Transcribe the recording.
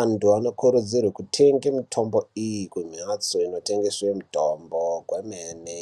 antu anokurudzirwe kutenga mitombo iyi kumhatso ino tengeswe mitombo kwemene.